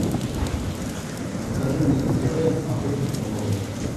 покажи мне на тв охотник и рыболов